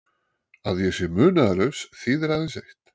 að ég sé munaðarlaus þýðir aðeins eitt.